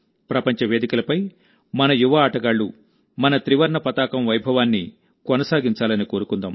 ప్రపంచ వేదికలపై మన యువ ఆటగాళ్లు మన త్రివర్ణ పతాకం వైభవాన్ని కొనసాగించాలని కోరుకుందాం